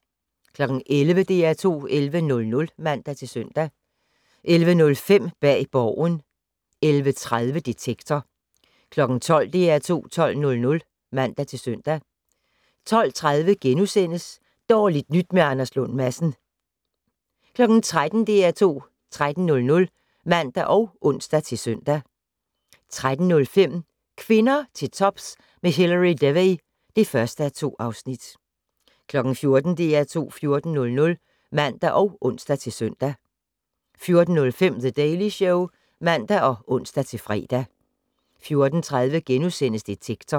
11:00: DR2 11:00 (man-søn) 11:05: Bag Borgen 11:30: Detektor 12:00: DR2 12:00 (man-søn) 12:30: Dårligt nyt med Anders Lund Madsen * 13:00: DR2 13:00 (man og ons-søn) 13:05: Kvinder til tops med Hilary Devey (1:2) 14:00: DR2 14:00 (man og ons-søn) 14:05: The Daily Show (man og ons-fre) 14:30: Detektor *